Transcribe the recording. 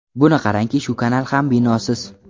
Buni qarangki, shu kanal ham binosiz.